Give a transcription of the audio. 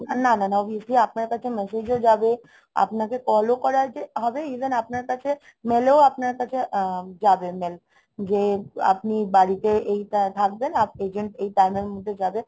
না না না obviously আপনার কাছে message ও যাবে আপনাকে call ও করা যে হবে even আপনার কাছে mail ও আপনার কাছে যাবে mail যে আপনি বাড়িতে এইটা থাকবেন agent এই time এর মধ্যে যাবে